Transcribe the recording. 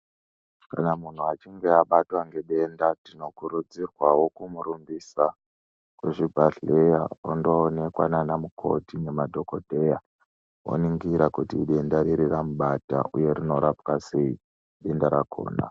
Kana muntu achinga abatwa ngedenda tinokurudzirwawo kumurumbisa kuzvibhedhleya ondoonekwa nana mukoti nemadhokodheya oningira kuti idenda riri ramubata uye kuti rinorapwa sei denda rakhona.